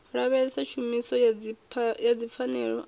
lavhelesa tshumiso ya dzipfanelo na